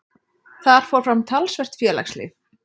Þar fór fram talsvert félagslíf.